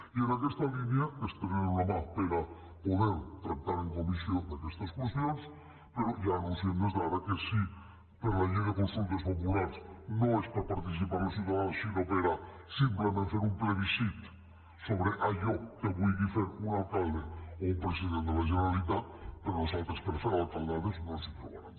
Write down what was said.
i en aquesta línia estenem la mà per a poder tractar en comissió d’aquestes qüestions però ja anunciem des d’ara que si la llei de consultes populars no és per a participar els ciutadans sinó per a simplement fer un plebiscit sobre allò que vulgui fer un alcalde o un president de la generalitat a nosaltres per fer alcaldades no ens hi trobaran